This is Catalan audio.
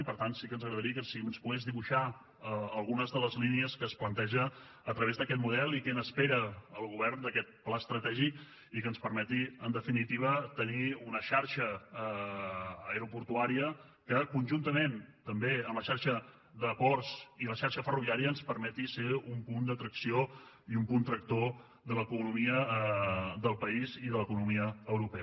i per tant sí que ens agradaria si ens pogués dibuixar algunes de les línies que es planteja a través d’aquest model i què n’espera el govern d’aquest pla estratègic i que ens permeti en definitiva tenir una xarxa aeroportuària que conjuntament també amb la xarxa de ports i la xarxa ferroviària ens permeti ser un punt d’atracció i un punt tractor de l’economia del país i de l’economia europea